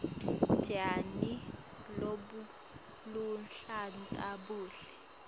tjani lobuluhlata buhle